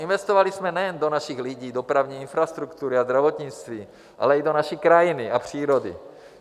Investovali jsme nejen do našich lidí, dopravní infrastruktury a zdravotnictví, ale i do naší krajiny a přírody.